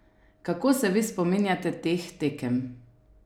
Kako se vi spominjate teh tekem?